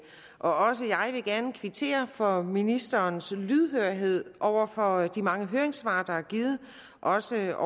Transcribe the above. også jeg vil gerne kvittere for ministerens lydhørhed over for de mange høringssvar der er givet også